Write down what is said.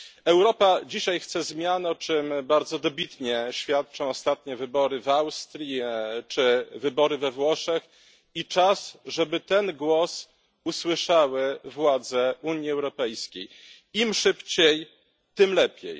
Europa chce dzisiaj zmian, o czym dobitnie świadczą ostatnie wybory w Austrii czy we Włoszech, i czas, żeby ten głos usłyszały władze Unii Europejskiej im szybciej, tym lepiej.